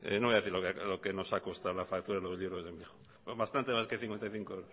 no voy a decir lo que nos ha costado en la factura los libros del mi hijo son bastante más de cincuenta y cinco